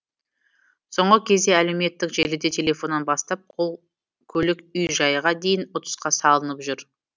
соңғы кезде әлеуметтік желіде телефоннан бастап көлік үй жайға дейін ұтысқа салынып жүр